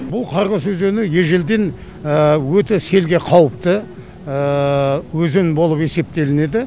бұл қорғас өзені ежелден өте селге қауіпті өзен болып есептелінеді